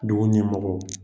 Dugu ɲɛmɔgɔw.